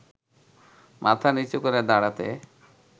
মাথা নিচু করে দাঁড়াতে